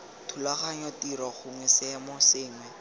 thulaganyo tiro gongwe seemo sengwe